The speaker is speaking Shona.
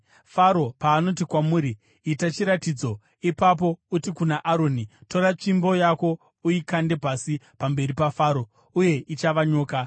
“Faro paanoti kwamuri, ‘Itai chiratidzo,’ ipapo uti kuna Aroni, ‘Tora tsvimbo yako uikande pasi pamberi paFaro,’ uye ichava nyoka.”